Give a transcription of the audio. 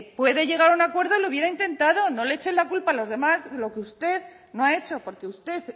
puede llegar a un acuerdo lo hubiera intentado no le echen la culpa a los demás de lo usted no ha hecho porque usted